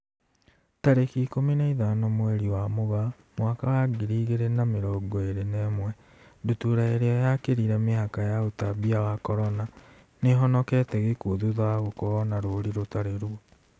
Tarĩki ikũmi na ithano mweri wa Mũgaa mwaka wa ngiri igĩrĩ na mĩrongo ĩrĩ na ĩmwe, ndutura ĩrĩa yakĩrire mĩhaka ya ũtambia wa Corona, nĩihonokete gĩkuo thutha wa gũkorwo na rũri rũtari ruo